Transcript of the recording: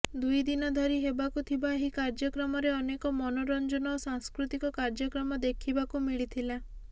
ଦୁଇଦିନ ଧରି ହେବାକୁ ଥିବା ଏହି କାର୍ଯ୍ୟକ୍ରମରେ ଅନେକ ମନୋରଞ୍ଜନ ଓ ସାଂସ୍କୃତିକ କାର୍ଯ୍ୟକ୍ରମ ଦେଖିବାକୁ ମିଳିଥିଲା